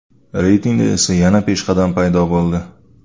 Reytingda esa yangi peshqadam paydo bo‘ldi.